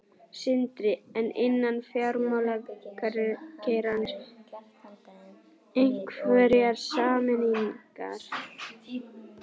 Sindri: En innan fjármálageirans, einhverjar sameiningar?